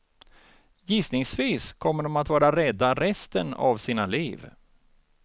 Gissningsvis kommer de att vara rädda resten av sina liv.